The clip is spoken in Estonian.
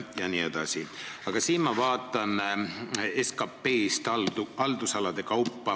Ma vaatan osakaalu SKP-st haldusalade kaupa.